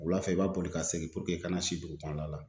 Wulafɛ i b'a boli ka segin i ka na si dugukɔnɔla la